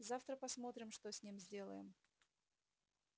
завтра посмотрим что с ним сделаем